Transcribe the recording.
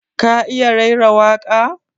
Ka iya raira waƙa?